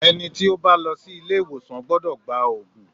Ẹni tí ó bá lọ sí ilé ìwòsàn gbọ́dọ̀ gba òògùn.